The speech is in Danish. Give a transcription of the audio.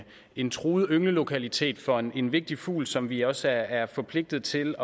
en truet ynglelokalitet for en vigtig fugl som vi også er forpligtet til